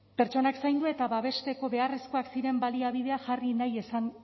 pertsonak zaindu eta babesteko beharrezkoak ziren baliabideak jarri nahi izan